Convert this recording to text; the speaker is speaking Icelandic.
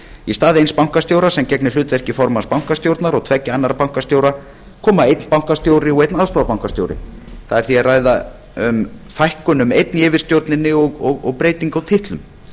í stað eins bankastjóra sem gegnir hlutverki formanns bankastjórnar og tveggja annarra bankastjóra koma einn bankastjóri og einn aðstoðarbankastjóri það er því að ræða um fækkun um einn í yfirstjórninni og breytingu á titlum